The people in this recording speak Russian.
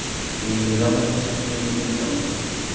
я никогда наркотиков не употреблял